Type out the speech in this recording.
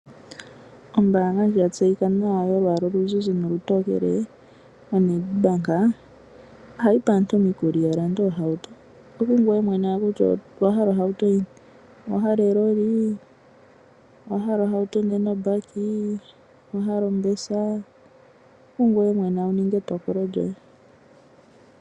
Ombaanga ya tseyika nawa yo lwaala oluzizi nolutokele, yedhina Nadbank, oha yi kwathele aantu ya lande oohauto dhawo. Ongele owa hala eloli, owahala obese, oku ngweye mwene wu ninge etokolo lyoye.